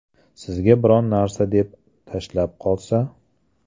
Sizga biron narsa deb, tashab qolsa?